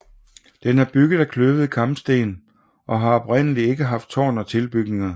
Den er bygget af kløvede kampesten og har oprindelig ikke haft tårn og tilbygninger